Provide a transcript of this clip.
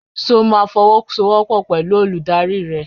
Ṣo ma fọwọ́sowọ́pọ̀ pẹ̀lú olùdarí rẹ?